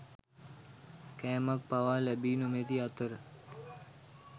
කෑමක් පවා ලැබී නොමැති අතර